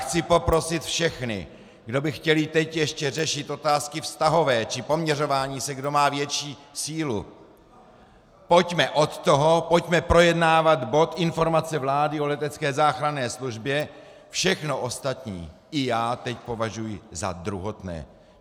Chci poprosit všechny, kdo by chtěli teď ještě řešit otázky vztahové či poměřování se, kdo má větší sílu, pojďme od toho, pojďme projednávat bod Informace vlády o letecké záchranné službě, všechno ostatní i já teď považuji za druhotné.